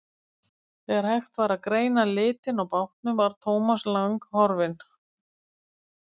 Þegar hægt var að greina litinn á bátnum var Thomas Lang horfinn.